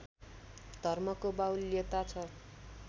धर्मको बाहुल्यता छ